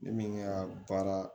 Ne min ka baara